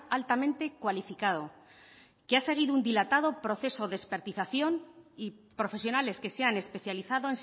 altamente cualificado que ha seguido un dilatado proceso de expertización y profesionales que se han especializado